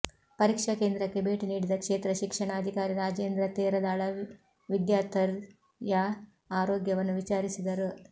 ಪರೀಕ್ಷಾ ಕೇಂದ್ರಕ್ಕೆ ಬೇಟಿ ನೀಡಿದ ಕ್ಷೇತ್ರ ಶಿಕ್ಷಣಾಧಿಕಾರಿ ರಾಜೇಂದ್ರ ತೇರದಾಳ ವಿದ್ಯಾಥರ್ಿಯ ಆರೋಗ್ಯವನ್ನು ವಿಚಾರಿಸಿದರು